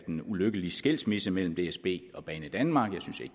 en ulykkelig skilsmisse mellem dsb og banedanmark